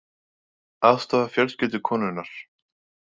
Aðstoða fjölskyldu konunnar